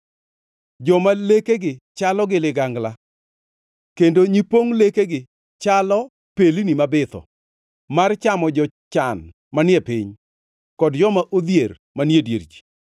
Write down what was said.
joma lekegi chalo gi ligangla kendo nyipongʼ lekegi chalo pelni mabitho, mar chamo jochan manie piny, kod joma odhier manie dier ji.